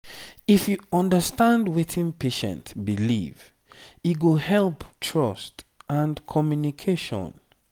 if you understand wetin patient believe e go help trust and communication.